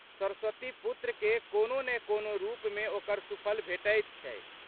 सरस्वतीपुत्रकेँ कोनो ने कोनो रूपमे ओकर सुफल भेटैत छै।